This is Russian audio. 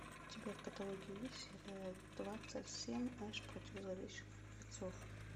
у тебя в каталоге есть сериал двадцать семь эш против зловещих мертвецов